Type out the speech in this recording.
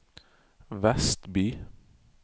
Vestby